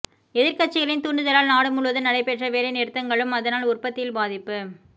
எதிர் கட்சிகளின் தூண்டுதலால் நாடு முழுவதும் நடைப்பெற்ற வேலை நிறுத்தங்களும் அதனால் உற்பத்தியில் பாதிப்பு